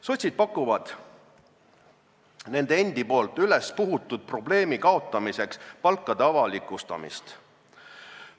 Sotsid pakuvad nende endi ülespuhutud probleemi kaotamiseks palkade avalikustamist.